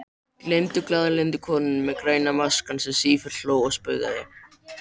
Glaðlyndu konunni með græna maskann sem sífellt hló og spaugaði.